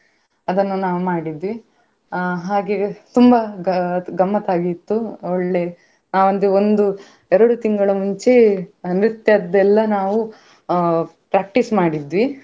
ಅದನ್ನು ನಾವು ಮಾಡಿದ್ವಿ ಅಹ್ ಹಾಗೆ ತುಂಬಾ ಗ~ ಗಮ್ಮತ್ ಆಗಿತ್ತು ಒಳ್ಳೆ ಆ ಒಂದು ಒಂದು ಎರಡು ತಿಂಗಳ ಮುಂಚೆ ನೃತ್ಯದೆಲ್ಲ ನಾವು ಅಹ್ practice ಮಾಡಿದ್ವಿ.